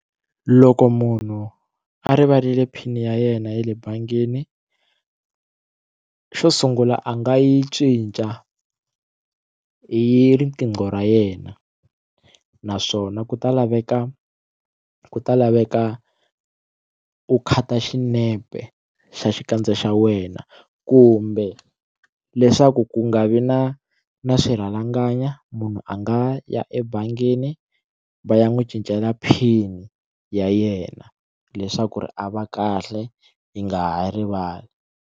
Loko munhu a rivalile pin ya yena ya le bangini xo sungula a nga yi cinca hi riqingho ra yena naswona ku ta laveka ku ta laveka u khata xinepe xa xikandza xa wena kumbe leswaku ku nga vi na na swirhalanganya munhu a nga ya ebangini va ya n'wi cincela pin ya yena leswaku ri a va kahle yi nga ha rivali.